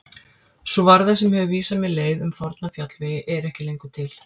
Sú varða sem hefur vísað mér leið um forna fjallvegi er ekki lengur til.